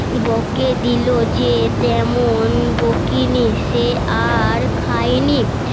বকে দিল যে তেমন বকেনি সে আর খায়নি